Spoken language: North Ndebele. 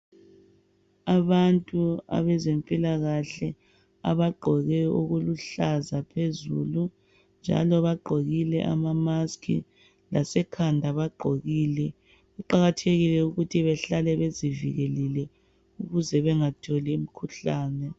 Abantu abezempilakahle abagqoke okuluhlaza phezulu njalo bagqokile ama mask, lasekhanda bagqokile kuqakathe ukuthi bahlale bezivikele ukuze bengatholi umkhuhlane.